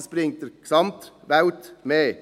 Das bringt der Gesamtwelt mehr.